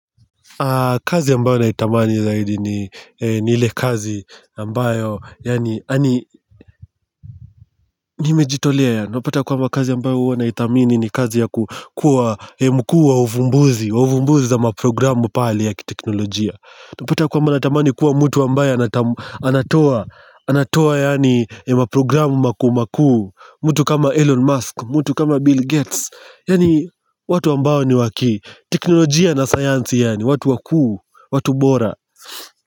Kazi ambayo naitamani zaidi ni ile kazi ambayo, nimejitolea yaani, unapata kwamba kazi ambayo huwa naitamini ni kazi ya ku kuwa mkuu wa uvumbuzi, uvumbuzi za ma programu pale ya kiteknologia. Unapata ya kwamba natamani kuwa mtu ambayo anatoa, anatoa yaani ma programu maku maku, mtu kama Elon Musk, mtu kama Bill Gates, yaani watu ambao ni waki, teknologia na science yaani, watu wakuu, watu bora.